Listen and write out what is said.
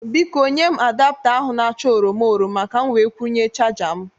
Biko, nye m adapta ahụ na-acha oroma oroma ka m were kwụnye chaja m